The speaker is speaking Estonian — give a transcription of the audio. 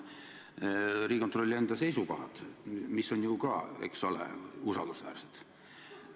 Seepärast ma loen teile ette Riigikontrolli enda seisukohad, mis on, eks ole, usaldusväärsed.